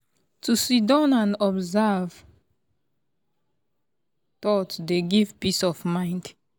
to siddon and observe thought dey give peace of mind.